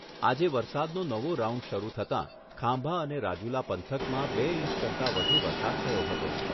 આજે વરસાદનો નવો રાઉન્ડ શરૂ થતાં ખાંભા અને રાજુલા પંથકમાં બે ઇંચ કરતાં વધુ વરસાદ થયો હતો.